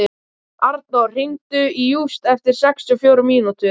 Arnór, hringdu í Júst eftir sextíu og fjórar mínútur.